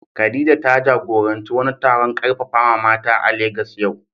Khadija, ta jagoranci wani taron karfafawa mata a Legas yau.